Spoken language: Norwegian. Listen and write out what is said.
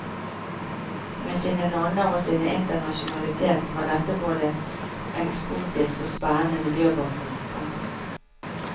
Med sine nonner og sin internasjonalitet var dette både ekspotisk og spennende miljøbakgrunn. punktum